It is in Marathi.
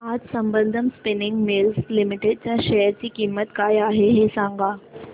आज संबंधम स्पिनिंग मिल्स लिमिटेड च्या शेअर ची किंमत काय आहे हे सांगा